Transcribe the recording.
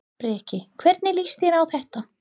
Breki: Hvernig líst þér á þetta?